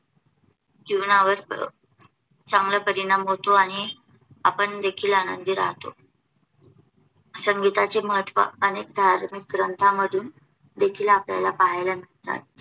चांगला परिणाम होतो आणि आपण देखील आनंदी राहतो. संगीताचे महत्त्व अनेक धार्मिक ग्रंथांमधून देखील आपल्याला पाहायला मिळतात.